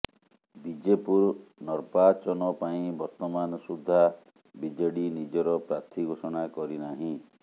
ବିଜେପୁର ନର୍ବାଚନ ପାଇଁ ବର୍ତ୍ତମାନ ସୁଦ୍ଧା ବିଜେଡି ନିଜର ପ୍ରାର୍ଥୀ ଘୋଷଣା କରିନାହିଁ